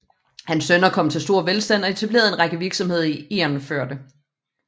Hans sønner kom til stor velstand og etablerede en række virksomheder i Egernførde